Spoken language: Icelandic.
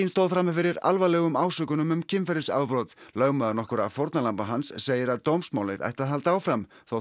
stóð frammi fyrir alvarlegum ásökunum um kynferðisafbrot en lögmaður nokkurra fórnarlamba hans segir að dómsmálið eigi að halda áfram þótt